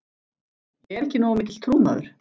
Ég er ekki nógu mikill trúmaður.